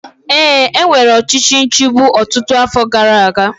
Ee, e nwere ọchịchị nchigbu ọtụtụ afọ gara aga